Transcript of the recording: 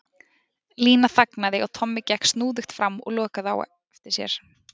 Lína þagnaði og Tommi gekk snúðugt fram og lokaði á eftir sér.